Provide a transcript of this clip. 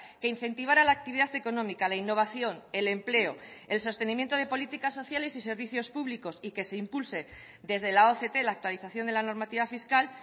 que incentivara la actividad económica la innovación el empleo el sostenimiento de políticas sociales y servicios públicos y que se impulse desde la oct la actualización de la normativa fiscal